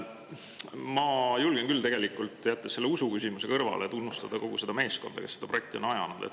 Ma julgen küll tegelikult, jättes selle usuküsimuse kõrvale, tunnustada kogu seda meeskonda, kes seda projekti on ajanud.